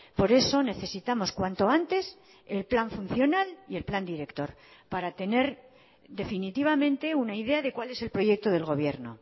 por eso necesitamos cuanto antes el plan funcional y el plan director para tener definitivamente una idea de cuál es el proyecto del gobierno